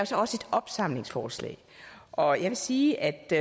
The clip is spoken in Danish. så også et opsamlingsforslag og jeg vil sige at det